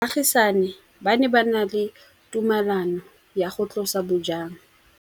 Baagisani ba ne ba na le tumalanô ya go tlosa bojang.